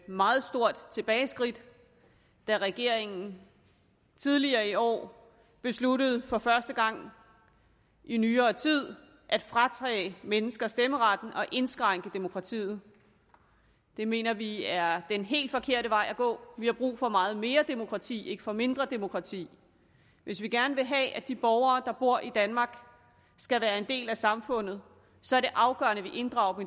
meget stort tilbageskridt da regeringen tidligere i år besluttede for første gang i nyere tid at fratage mennesker stemmeretten og indskrænke demokratiet det mener vi er den helt forkerte vej at gå vi har brug for meget mere demokrati ikke for mindre demokrati hvis vi gerne vil have at de borgere der bor i danmark skal være en del af samfundet så er det afgørende at vi inddrager